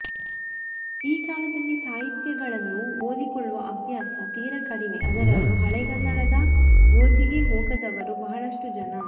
ಈ ಕಾಲದಲ್ಲಿ ಸಾಹಿತ್ಯಗಳನ್ನು ಓದಿಕೊಳ್ಳುವ ಅಭ್ಯಾಸ ತೀರಾ ಕಡಿಮೆ ಅದರಲ್ಲೂ ಹಳೆಗನ್ನಡದ ಗೋಜಿಗೆ ಹೋಗದವರು ಬಹಳಷ್ಟು ಜನ